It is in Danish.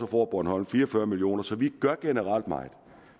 får bornholm fire og fyrre million kroner så vi gør generelt meget